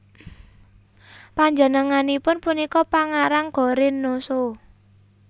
Panjenenganipun punika pangarang Go Rin No Sho